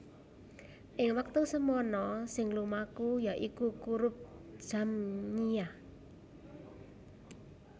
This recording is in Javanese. Ing wektu semana sing lumaku yaiku kurup Jamngiah